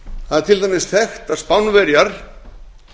það er til dæmis þekkt að spánverjar